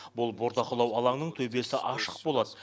бұл бордақылау алаңның төбесі ашық болады